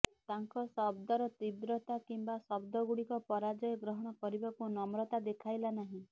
ତାଙ୍କ ଶବ୍ଦର ତୀବ୍ରତା କିମ୍ବା ଶବ୍ଦଗୁଡ଼ିକ ପରାଜୟ ଗ୍ରହଣ କରିବାକୁ ନମ୍ରତା ଦେଖାଇଲା ନାହିଁ